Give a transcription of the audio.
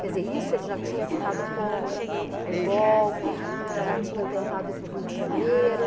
Quer dizer, isso ele já tinha ficado contra o golpe, já tinha tentado ir para o Rio de Janeiro.